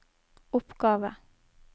oppgave